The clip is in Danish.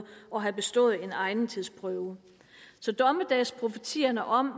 og have bestået en egnethedsprøve så dommedagsprofetierne om